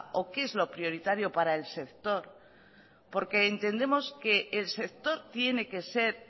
o qué es lo prioritario para el sector porque entendemos que el sector tiene que ser